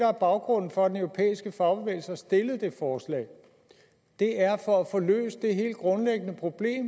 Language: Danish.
er baggrunden for at den europæiske fagbevægelse har stillet det forslag det er for at få løst det helt grundlæggende problem